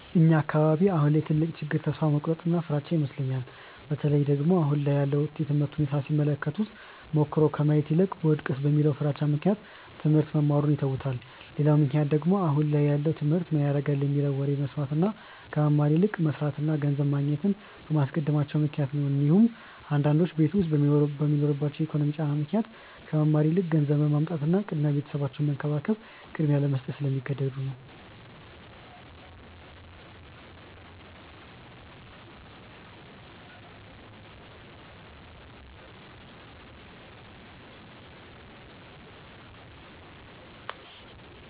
እኛ አካባቢ አሁን ላይ ትልቁ ችግር ተስፋ መቁረጥ እና ፍራቻ ይመስለኛል። በተለይ ደግሞ አሁን ላይ ያለውን የትምህርት ሁኔታ ሲመለከቱ ሞክሮ ከማየት ይልቅ ብወድቅስ በሚለው ፍራቻ ምክንያት ትሞህርት መማሩን ይተውታል። ሌላው ምክንያት ደግሞ አሁን ላይ ያለውን ትምህርት ምን ያረጋል የሚለውን ወሬ በመስማት እና ከመማር ይልቅ መስርትን እና ገንዘብ ማግኘትን በማስቀደማቸው ምክንያት ነው እንዲሁም አንዳንዶቹ ቤት ዉስጥ በሚኖርባቸው የኢኮኖሚ ጫና ምክንያት ከመማር ይልቅ ገንዘብ ማምጣትን እና ቤተሰባቸውን መንከባከብን ቅድሚያ ለመስጠት ስለሚገደዱ ነው።